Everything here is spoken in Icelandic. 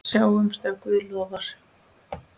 Sjáumst ef Guð lofar.